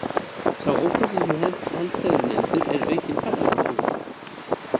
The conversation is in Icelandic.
Sá ókostur sem helst hefur verið nefndur er aukinn ferðakostnaður.